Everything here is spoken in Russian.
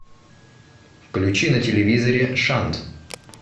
включи на телевизоре шант